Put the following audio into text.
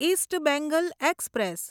east Bengal express